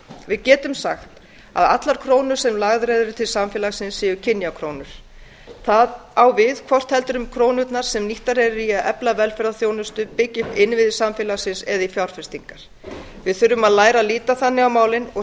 við getum sagt að allar krónur sem lagðar eru til samfélagsins séu kynjakrónur það á við hvort heldur krónurnar eru nýttar í að efla velferðarþjónustu byggja upp innviði samfélagsins eða í fjárfestingar við þurfum að læra að líta þannig á málin og